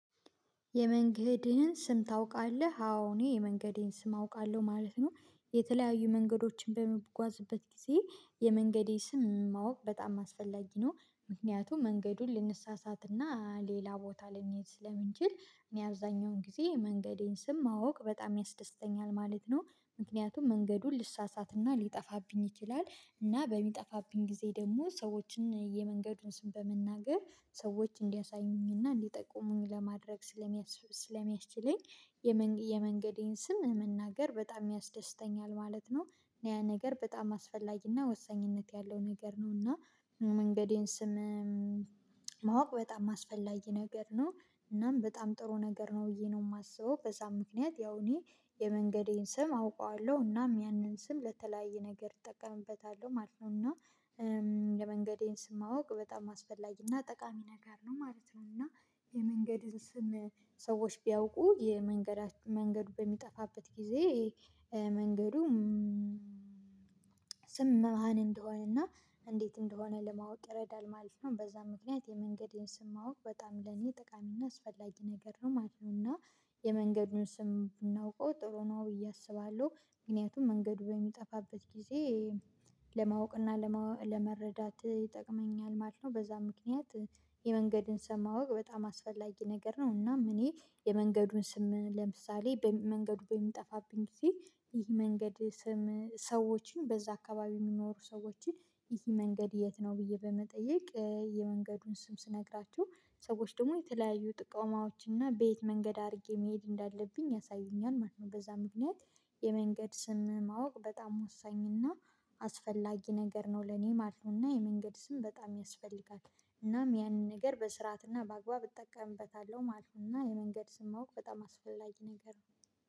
የመንገድህን ስም ታውቃለህ አዎ እኔ የመንገዴን ስም አውቃለሁ ማለት ነው። የተለያዩ መንገዶችን በምጓዝበት ጊዜ የመንገዴ ስም ማወቅ በጣም አስፈላጊ ነው። ምክንያቱም መንገዱን ልንሳሳትና ሌላ ቦታ ልንሄድ ስለምንችል እኔ አብዛኛውን ጊዜ መንገዴን ስም ማወቅ በጣም ያስደስተኛል ማለት ነው። ምክንያቱም መንገዱን ልሳሳትና ሊጠፋብኝ ይችላል እና በሚጠፋብኝ ጊዜ ደግሞ ሰዎችን የመንገዱን ስም በመናገር ሰዎች እንዲያሳዩኝና እንዲጠቁሙኝ ለማድረግ ስለሚያስችለኝ የመንገዴን ስም መናገር በጣም ያስደስተኛል ማለት ነው። ያ ነገር በጣም አስፈላጊና ወሳኝነት ያለው ነገር ነውና መንገዴን ስም ማወቅ በጣም አስፈላጊ ነገር ነው። እናም በጣም ጥሩ ነገር ነው ብዬ ነው እማስበው። ከዛ ምክንያት ያው እኔ የመንገዴን ስም አውቀዋለሁ እናም ያንን ስም ለተለያየ ነገር እጠቀምበታለሁ ማለት ነው። እና የመንገዴን ስም ማወቅ በጣም አስፈላጊና ጠቃሚ ነገር ነው ማለት ነው። እና የመንገድን ስም ሰዎች ቢያውቁ የመንገድ መንገዱ በሚጠፋበት ጊዜ መንገዱ ስም መሃን እንደሆነ እና እንዴት እንደሆነ ለማወቅ ይረዳል ማለት ነው። በዛ ምክንያት የመንገዴን ስም ማወቅ በጣም ለኔ ጥቃሚና አስፈላጊ ነገር ነው ማለት ነው። እና የመንገዱን ስም ብናውቀው ጥሩ ነው ብዬ አስባለሁ። ምክንያቱም መንገዱ በሚጠፋበት ጊዜ ለማወቅ እና ለመረዳት ይጠቅመኛል ማለት ነው። በዛ ምክንያት የመንገድን ስም ማወቅ በጣም አስፈላጊ ነገር ነው። እናም እኔ የመንገዱን ስም ለምሳሌ መንገዱ በሚጠፋብኝ ጊዜ ይህ መንገድ ስም ሰዎችን በዛ አካባቢ እሚኖሩ ሰዎችን ይሄ መንገድ የት ነው ብዬ በመጠየቅ የመንገዱን ስም ስነግራችሁ ሰዎች ደግሞ የተለያዩ ጥቆማዎችና በየት መንገድ አድርጌ መሄድ እንዳለብኝ ያሳዩኛል ማለት ነው። በዛ ምክንያት የመንገድ ስም ማወቅ በጣም ወሳኝ እና አስፈላጊ ነገር ነው ለኔ ማለት ነዉና የመንገድ ስም በጣም ያስፈልጋል። እናም ያንን ነገር በስርዓትና በአግባብ እጠቀምበታለሁ ማለት ነዉእና የመንገድ ስም ማወቅ በጣም አስፈላጊ ነገር ነው።